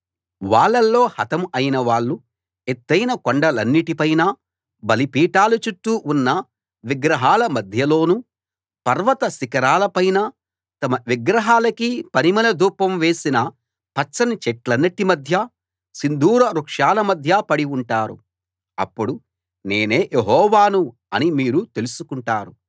వాళ్ళలో హతం అయిన వాళ్ళు ఎత్తయిన కొండలన్నిటి పైనా బలిపీఠాల చుట్టూ ఉన్న విగ్రహాల మధ్యలోనూ పర్వత శిఖరాల పైనా తమ విగ్రహాలకి పరిమళ ధూపం వేసిన పచ్చని చెట్లన్నిటి మధ్యా సింధూర వృక్షాల మధ్యా పడి ఉంటారు అప్పుడు నేనే యెహోవాను అని మీరు తెలుసుకుంటారు